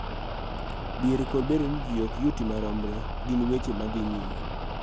Dhier kod bedo ni ji ok yuti maromre gin weche ma dhi nyime